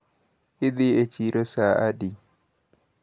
Idhi e chiro saa adi?